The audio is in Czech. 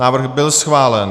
Návrh byl schválen.